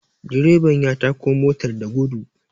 direban ya tako motar da gudu